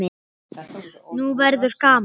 Nú verður gaman!